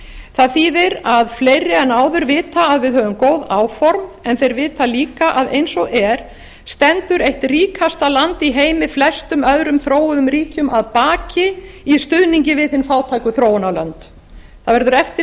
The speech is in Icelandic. það þýðir að fleiri en áður vita að við höfum góð áform en þeir vita líka að eins og er stendur eitt ríkasta land í heimi flestum öðrum þróuðum ríkjum að baki í stuðningi við hin fátæku þróunarlönd það verður eftir